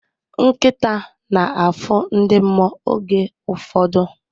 Nkịta na-afụ ndị mmụọ oge ụfọdụ.